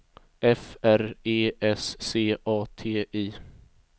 F R E S C A T I